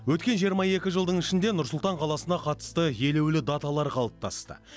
өткен жиырма екі жылдың ішінде нұр сұлтан қаласына қатысты елеулі даталар қалыптасты